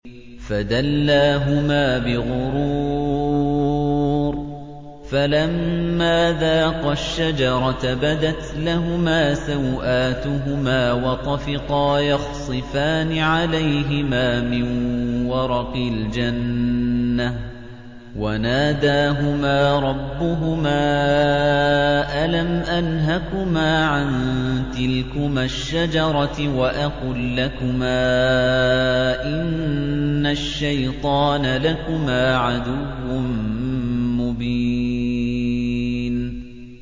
فَدَلَّاهُمَا بِغُرُورٍ ۚ فَلَمَّا ذَاقَا الشَّجَرَةَ بَدَتْ لَهُمَا سَوْآتُهُمَا وَطَفِقَا يَخْصِفَانِ عَلَيْهِمَا مِن وَرَقِ الْجَنَّةِ ۖ وَنَادَاهُمَا رَبُّهُمَا أَلَمْ أَنْهَكُمَا عَن تِلْكُمَا الشَّجَرَةِ وَأَقُل لَّكُمَا إِنَّ الشَّيْطَانَ لَكُمَا عَدُوٌّ مُّبِينٌ